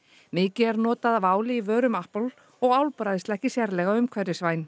mikið er notað af áli í vörum og álbræðsla ekki sérlega umhverfisvæn